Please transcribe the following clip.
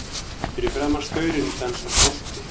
Fyrir framan staurinn dansar bolti.